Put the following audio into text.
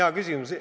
Hea küsimus.